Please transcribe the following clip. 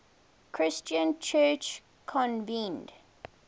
christian church convened